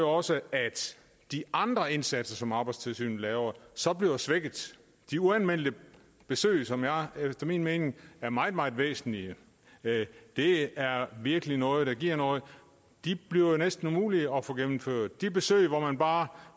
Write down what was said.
også at de andre indsatser som arbejdstilsynet laver så bliver svækket de uanmeldte besøg som efter min mening er meget meget væsentlige det er virkelig noget der giver noget bliver jo næsten umulige at få gennemført de besøg hvor man bare